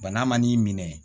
Bana man'i minɛ